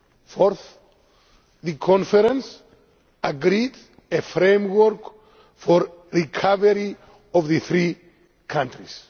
Fourth, the conference agreed a framework for recovery of the three countries.